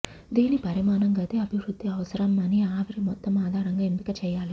దీని పరిమాణం గది అభివృద్ధి అవసరం అని ఆవిరి మొత్తం ఆధారంగా ఎంపిక చేయాలి